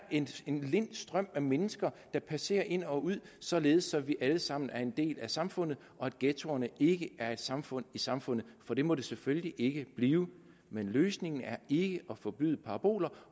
en lind strøm af mennesker der passerer ind og ud således at vi alle sammen er en del af samfundet og at ghettoerne ikke er et samfund i samfundet for det må de selvfølgelig ikke blive men løsningen er ikke at forbyde paraboler